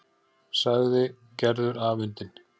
sagði Gerður afundin.